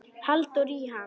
Halldór í ham